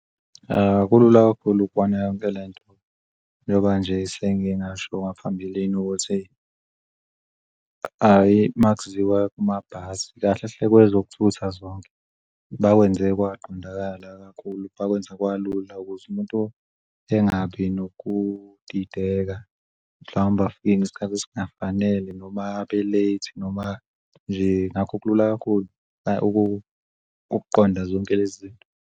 Kulula kakhulu ukubona yonke lento njoba nje sengengasho ngaphambilini ukuthi hhayi kahle hle kwezokuthutha zonke bakwenze kwaqondala kakhulu bakwenze kwalula ukuze umuntu engabi nokudideka, mhlawumbe afike ngesikhathi esingafanele noma abe-late noma nje ngakho kulula kakhulu ukuqonda zonke lezi zinto.